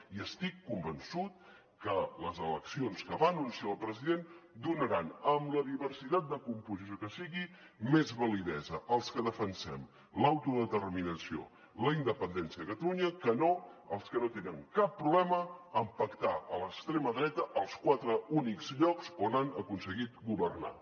i estic convençut que les eleccions que va anunciar el president donaran amb la diversitat de composició que sigui més validesa als que defensem l’autodeterminació la independència de catalunya que no als que no tenen cap problema amb pactar amb l’extrema dreta als quatre únics llocs on han aconseguit governar